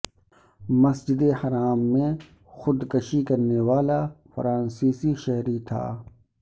مسجد الحرام میں خودکشی کرنے والا فرانسیسی شہری تھا